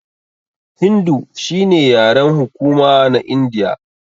Hindu shine yaren hukuma na Indiya.